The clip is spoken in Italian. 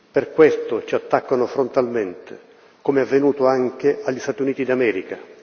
Per questo ci attaccano frontalmente, come è avvenuto anche agli Stati Uniti d'America.